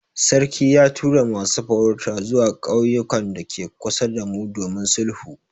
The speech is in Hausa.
Sarki ya tura masu farauta zuwa ƙauyukan dake kusa damu domin sulhu.